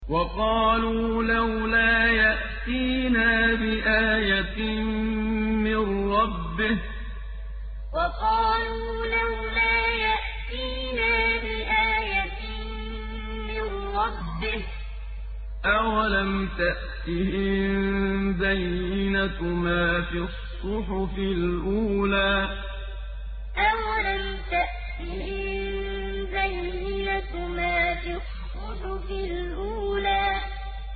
وَقَالُوا لَوْلَا يَأْتِينَا بِآيَةٍ مِّن رَّبِّهِ ۚ أَوَلَمْ تَأْتِهِم بَيِّنَةُ مَا فِي الصُّحُفِ الْأُولَىٰ وَقَالُوا لَوْلَا يَأْتِينَا بِآيَةٍ مِّن رَّبِّهِ ۚ أَوَلَمْ تَأْتِهِم بَيِّنَةُ مَا فِي الصُّحُفِ الْأُولَىٰ